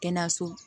Kɛnɛyaso